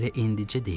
Elə indicə deyək.